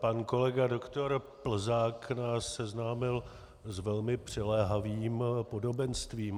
Pan kolega doktor Plzák nás seznámil s velmi přiléhavým podobenstvím.